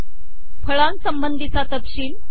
फळांसंबंधीचा तपशील